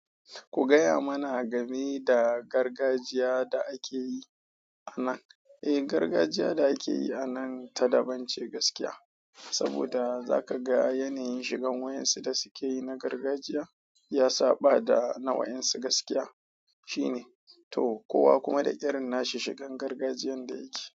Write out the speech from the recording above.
Ku gaya mana game da gargajiya da ake yi a nan. Eh, gargajiya da ake yi a nan ta daban ce gaskiya. Saboda zaka ga yanayin shigan waƴansu da suke yi na gargajiya, ya saɓa da na waƴansu gaskiya. Shine. To, kowa kuma da irin nashi shigan gargajiyan da yake.